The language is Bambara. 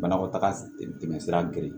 Banakɔtaga tɛmɛsira geren